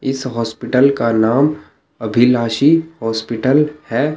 इस हॉस्पिटल का नाम अभिलाशी हॉस्पिटल है।